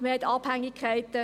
Man hat Abhängigkeiten.